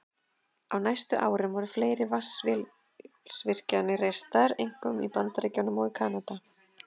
Á næstu árum voru fleiri vatnsaflsvirkjanir reistar, einkum í Bandaríkjunum og Kanada.